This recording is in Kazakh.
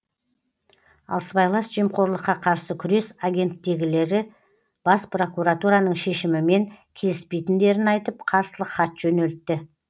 ал сыбайлас жемқорлыққа қарсы күрес агенттігіндегілер бас прокуратураның шешімімен келіспейтіндерін айтып қарсылық хат жөнелтті